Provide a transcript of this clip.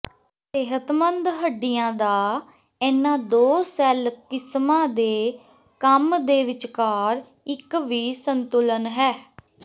ਸਿਹਤਮੰਦ ਹੱਡੀਆਂ ਦਾ ਇਹਨਾਂ ਦੋ ਸੈੱਲ ਕਿਸਮਾਂ ਦੇ ਕੰਮ ਦੇ ਵਿਚਕਾਰ ਇੱਕ ਵੀ ਸੰਤੁਲਨ ਹੈ